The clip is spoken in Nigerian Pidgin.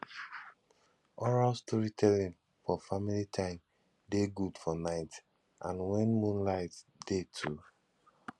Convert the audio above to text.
oral storytelling for family time de good for night and when moonlight de too